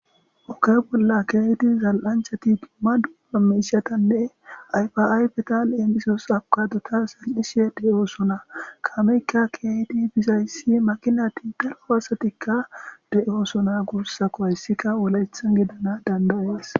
Oge bolla kezid dumma dumma zal'anchat dumma mishatanne ayfa ayfeta lemisos avocadota zal'ishe de'osona. Kameyka keehid bizays makinat daro asat kuwasetika de'osona guusako. Haysika wolaythan gidanas danda'es.